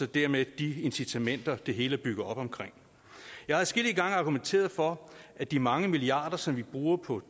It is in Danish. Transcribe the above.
dermed de incitamenter det hele er bygget op omkring jeg har adskillige gange argumenteret for at de mange milliarder som vi bruger på